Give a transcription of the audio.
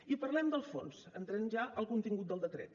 i parlem del fons entrem ja al contingut del decret